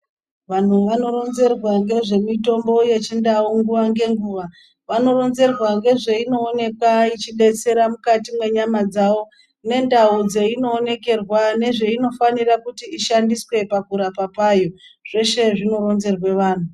Vantu vanoronzerwa ngezvemitombo yechindau nguva ngenguva. Vanoronzerwa ngezvainoonekwa ichibetsera mukati menyama dzavo. Nendau dzeino onekerwa nezvainofanira kushandiswe pakurapa kwayo zveshe zvinoronzerwe vantu.